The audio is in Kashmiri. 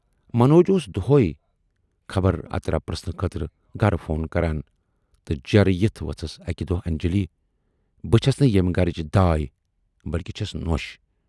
منوج اوس دۅہے خبر اتر پرژھنہٕ خٲطرٕ گرٕ فون کران تہٕ جیرٕ یِتھ ؤژھِس اکہِ دۅہ انجلی بہٕ چھَس نہٕ ییمہِ گرٕچ داے بٔلۍکہِ چھَس نۅش